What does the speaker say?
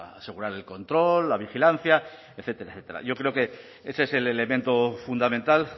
asegurar el control la vigilancia etcétera etcétera yo creo que ese es el elemento fundamental